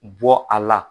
Bɔ a la